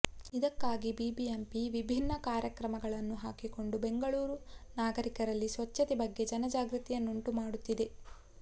ಇದಕ್ಕಾಗಿ ಬಿಬಿಎಂಪಿ ವಿಭಿನ್ನ ಕಾರ್ಯಕ್ರಮಗಳನ್ನು ಹಾಕಿಕೊಂಡು ಬೆಂಗಳೂರು ನಾಗರಿಕರಲ್ಲಿ ಸ್ವಚ್ಛತೆ ಬಗ್ಗೆ ಜನಜಾಗೃತಿಯನ್ನಂಟು ಮಾಡುತ್ತಿದೆ